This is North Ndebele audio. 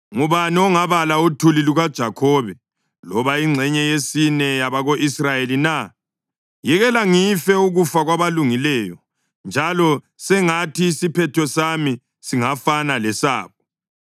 Ngubani ongabala uthuli lukaJakhobe loba ingxenye yesine yabako-Israyeli na? Yekela ngife ukufa kwabalungileyo, njalo sengathi isiphetho sami singafana lesabo!”